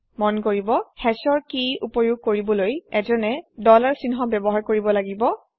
মন কৰিব Hashৰ কি উপয়োগ কৰিবলৈ এজনে ডলাৰ চাইন ব্যৱহাৰ কৰিব লাগিব